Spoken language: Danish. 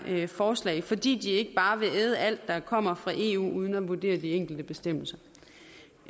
her forslag fordi de ikke bare vil æde alt der kommer fra eu uden at vurdere de enkelte bestemmelser